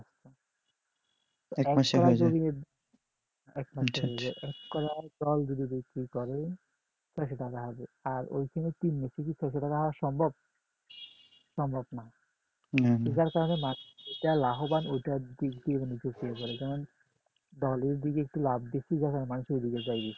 আর ওই সময় ছয়শত টাকা আনা সম্ভব সম্ভব না যার কারণে মাঠেটা লাভবান ওই টার দিক দিয়ে অনুযায়ী করে যেমন দলের দিক দিয়ে লাভ বেশি তখন মানুষ ওই দিকে যায় বেশি